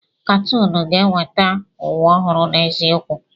Katoonu ga-eweta ụwa ọhụrụ n'eziokwu.